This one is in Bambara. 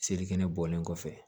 Selekɛnɛ bɔlen kɔfɛ